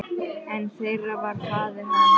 Einn þeirra var faðir hans.